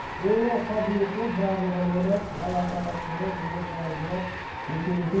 ойлау қабілеті барлығын ойлайды бала шағасын ойлайды ұлым қалай болады ертең не етеді